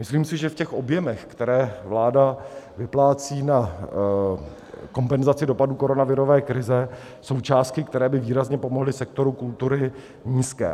Myslím si, že v těch objemech, které vláda vyplácí na kompenzaci dopadů koronavirové krize, jsou částky, které by výrazně pomohly sektoru kultury, nízké.